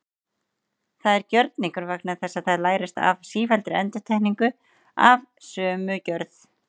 Það er gjörningur vegna þess að það lærist af sífelldri endurtekningu af sömu gjörð.